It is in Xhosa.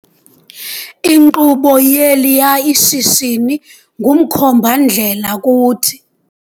Inkqubo yeliyaa shishini ngumkhomba-ndlela kuthi.